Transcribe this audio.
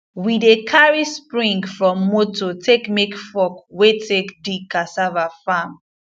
we dey cari spring from moto take make fork wey take dig cassava farm